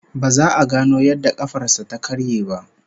Ba za a gano yadda kafar sa ta karye ba